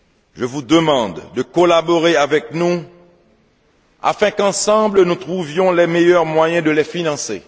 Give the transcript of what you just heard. Je vous demande de collaborer avec nous afin qu'ensemble, nous trouvions les meilleurs moyens de les financer.